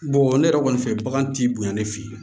ne yɛrɛ kɔni fɛ bagan t'i bonya ne fɛ yen